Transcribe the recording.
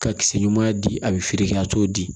Ka kisɛ ɲuman di a bɛ feere kɛ a t'o di